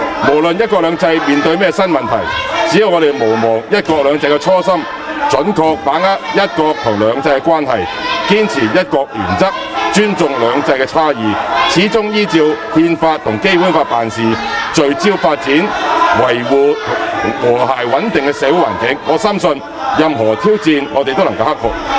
無論"一國兩制"面對甚麼新問題，只要我們毋忘"一國兩制"的初心，準確把握"一國"和"兩制"的關係，堅持"一國"原則，尊重"兩制"差異，始終依照《憲法》和《基本法》辦事，聚焦發展、維護和諧穩定的社會環境，我深信，任何挑戰我們都能夠克服。